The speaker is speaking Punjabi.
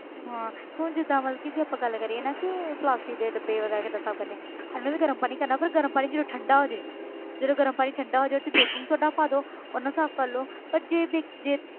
ਹਾਂ ਹੁਣ ਜਿੱਦਾਂ ਮਤਲਬ ਕਿ ਜੇ ਆਪਾਂ ਗੱਲ ਕਰੀਏ ਨਾ ਕਿ plastic ਦੇ ਡੱਬੇ ਵਗ਼ੈਰਾ ਕਿੱਦਾਂ ਸਾਫ਼ ਕਰਨੇ ਇਹਨੂੰ ਵੀ ਗਰਮ ਪਾਣੀ ਕਰਨਾ ਪਰ ਗਰਮ ਪਾਣੀ ਜਦੋਂ ਠੰਢਾ ਹੋ ਜਾਏ ਜਦੋਂ ਗਰਮ ਪਾਣੀ ਠੰਢਾ ਹੋ ਜਾਏ ਉਹ 'ਚ ਗਰਮ ਪਾਣੀ ਪਾ ਦਓ ਉਹਦੇ ਨਾਲ ਸਾਫ਼ ਕਰ ਲਓ ਪਰ ਜੇ ਵੀ ਜੇ